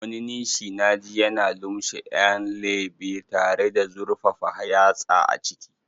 Wani nishi naji yana lumshe 'yan lebe tare da zurfafa yatsa a ciki.